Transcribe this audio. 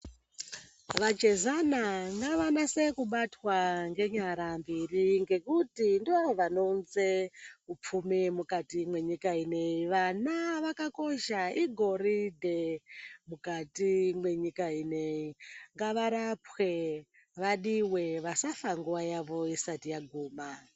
Vachezana ngavanase kubatwa ngenyara mbiri ngekuti ndivo vanounze upfumi mukati mwenyika ineyi. Vana vakakosha igoridhe mukati mwenyika ineyi. Ngavarapwe, vadiwe vasafa nguwa yavo isati yaguma.